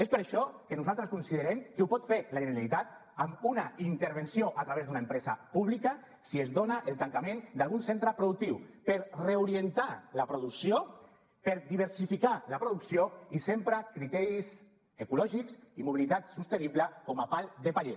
és per això que nosaltres considerem que ho pot fer la generalitat amb una intervenció a través d’una empresa pública si es dona el tancament d’algun centre productiu per reorientar la producció per diversificar la producció i sempre criteris ecològics i mobilitat sostenible com a pal de paller